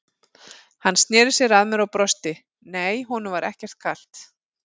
Hann sneri sér að mér og brosti, nei, honum var ekkert kalt.